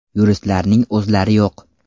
Yuristlarning o‘zlari yo‘q.